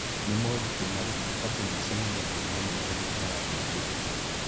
Nĩ moritũ marĩkũ andũ macemanagia namo rĩrĩa marathiĩ kũndũ kũngĩ?